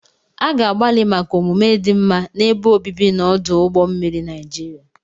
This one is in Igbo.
A ga-agbalị maka omume dị mma n'ebe obibi na ọdụ ụgbọ mmiri Niajiria.